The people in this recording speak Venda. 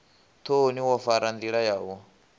thoni wo fara ndila yau